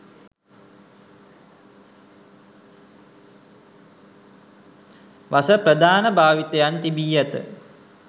වස ප්‍රධාන භාවිතයන් තිබී ඇත